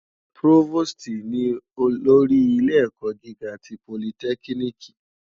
Prófóstì ni ólórì ilé èkò gigá ti pólítèkínìkí